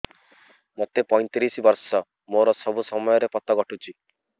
ମୋତେ ପଇଂତିରିଶ ବର୍ଷ ମୋର ସବୁ ସମୟରେ ପତ ଘଟୁଛି